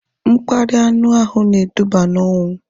Mkparịa anu ahụ edubago n'onwu